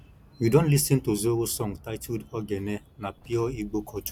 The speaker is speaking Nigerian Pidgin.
you don lis ten to zoro song titled ogene na pure igbo culture